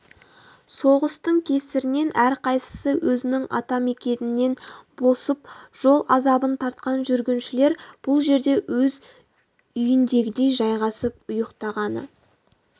соғыстың кесірінен әрқайсысы өзінің атамекенінен босып жол азабын тартқан жүргіншілер бұл жерде өз үйіндегідей жайғасып ұйықтағаны